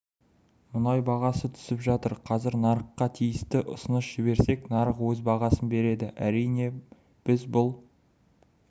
мұнай бағасы түсіп жатыр қазір нарыққа тиісті ұсыныс жіберсек нарық өз бағасын береді әрине біз бұл